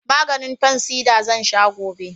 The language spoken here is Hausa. Maganin fansida zan sha gobe